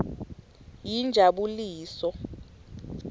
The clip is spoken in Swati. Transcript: yinjabuliso